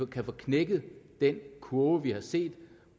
kan få knækket den kurve vi har set